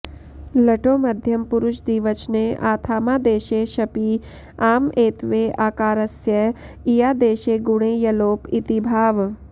लटो मध्यमपुरुषदिवचने आथामादेशे शपि आम एत्वे आकारस्य इयादेशे गुणे यलोप इति भावः